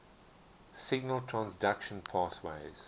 signal transduction pathways